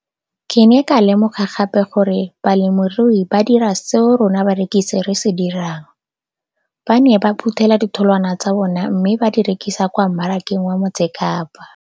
Ke ne ka lemoga gape gore balemirui ba dira seo rona barekisi re se dirang ba ne ba phuthela ditholwana tsa bona mme ba di rekisa kwa marakeng wa Motsekapa.